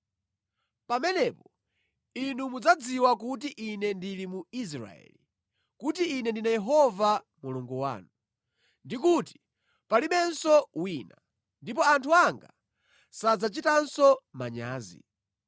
Pamenepo inu mudzadziwa kuti Ine ndili mu Israeli, kuti Ine ndine Yehova Mulungu wanu, ndi kuti palibenso wina; ndipo anthu anga sadzachitanso manyazi.